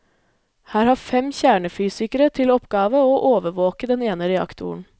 Her har fem kjernefysikere til oppgave å overvåke den ene reaktoren.